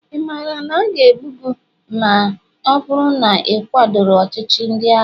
ị maara na a ga-egbu gị ma ọ bụrụ na ị kwadoro ọchịchị ndị agha?